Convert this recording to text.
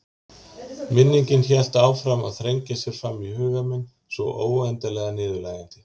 Minningin hélt áfram að þrengja sér fram í huga minn svo óendanlega niðurlægjandi.